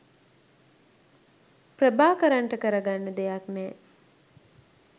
ප්‍රභාකරන්ට කරගන්න දෙයක් නෑ